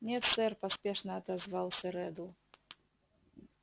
нет сэр поспешно отозвался реддл